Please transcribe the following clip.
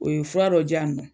O ye fura dɔ di yan nɔ